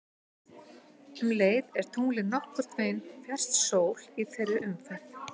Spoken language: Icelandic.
Um leið er tunglið nokkurn veginn fjærst sól í þeirri umferð.